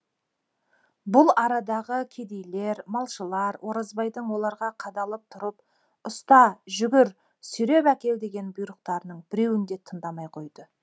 бұл арадағы кедейлер малшылар оразбайдың оларға қадалып тұрып ұста жүгір сүйреп әкел деген бұйрықтарының біреуін де тыңдамай қойды